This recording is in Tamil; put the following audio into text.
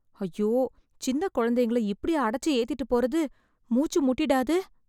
ஐயோ, சின்னக் கொழந்தைங்கள இப்டியா அடச்சி ஏத்திட்டுப் போறது... மூச்சு முட்டிடாது?